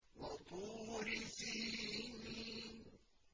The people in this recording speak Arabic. وَطُورِ سِينِينَ